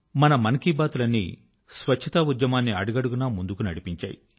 మన మన్ కీ బాత్ లు అన్నీ స్వచ్ఛతా ఉద్యమాన్ని అడుగడుగునా ముందుకు నడిపించాయి